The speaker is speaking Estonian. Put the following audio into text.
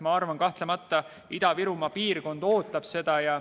Ma arvan, kahtlemata Ida-Virumaa piirkond ootab seda.